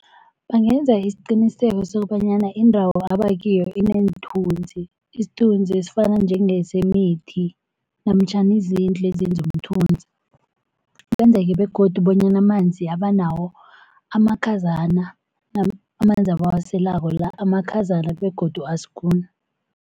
Bangenza isiqiniseko sokobanyana indawo abakiyo ineenthunzi isithunzi esifana njengesemithi namtjhana izindlu ezenza umthunzi. Kwenzeke begodu bonyana amanzi abanawo amakhazana amanzi abawaselako la amakhazana begodu asikuni.